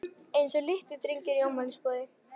Eins og litlir drengir í afmælisboði.